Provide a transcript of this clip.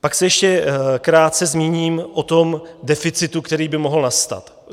Pak se ještě krátce zmíním o tom deficitu, který by mohl nastat.